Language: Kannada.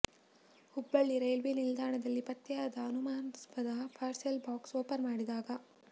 ಹುಬ್ಬಳ್ಳಿ ರೈಲ್ವೆ ನಿಲ್ದಾಣದಲ್ಲಿ ಪತ್ತೆಯಾದ ಅನುಮಾನಸ್ಪದ ಪಾರ್ಸಲ್ ಬಾಕ್ಸ್ ಒಪನ್ ಮಾಡಿದಾಗ